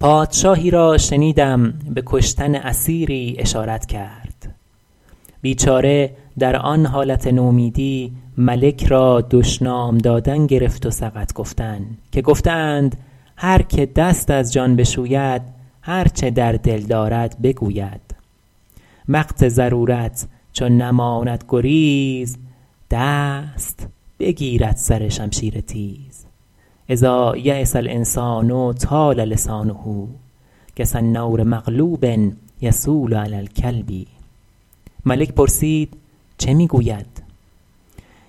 پادشاهی را شنیدم به کشتن اسیری اشارت کرد بیچاره در آن حالت نومیدی ملک را دشنام دادن گرفت و سقط گفتن که گفته اند هر که دست از جان بشوید هر چه در دل دارد بگوید وقت ضرورت چو نماند گریز دست بگیرد سر شمشیر تیز إذا ییس الإنسان طال لسانه کسنور مغلوب یصول علی الکلب ملک پرسید چه می گوید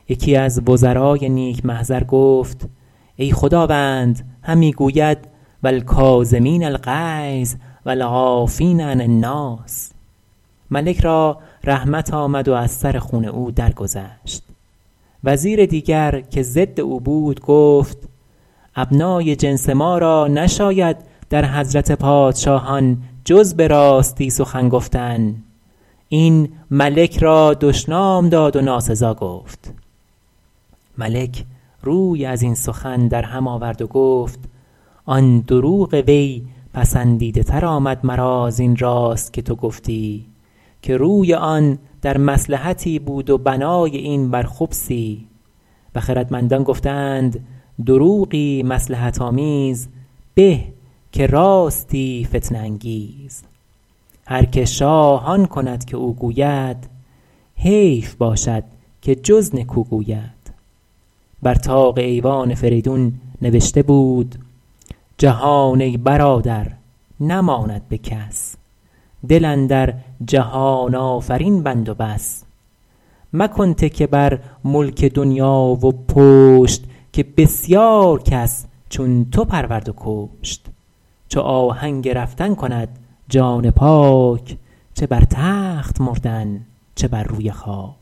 یکی از وزرای نیک محضر گفت ای خداوند همی گوید و الکاظمین الغیظ و العافین عن الناس ملک را رحمت آمد و از سر خون او درگذشت وزیر دیگر که ضد او بود گفت ابنای جنس ما را نشاید در حضرت پادشاهان جز به راستی سخن گفتن این ملک را دشنام داد و ناسزا گفت ملک روی از این سخن در هم آورد و گفت آن دروغ وی پسندیده تر آمد مرا زین راست که تو گفتی که روی آن در مصلحتی بود و بنای این بر خبثی و خردمندان گفته اند دروغی مصلحت آمیز به که راستی فتنه انگیز هر که شاه آن کند که او گوید حیف باشد که جز نکو گوید بر طاق ایوان فریدون نبشته بود جهان ای برادر نماند به کس دل اندر جهان آفرین بند و بس مکن تکیه بر ملک دنیا و پشت که بسیار کس چون تو پرورد و کشت چو آهنگ رفتن کند جان پاک چه بر تخت مردن چه بر روی خاک